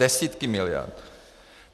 Desítky miliard!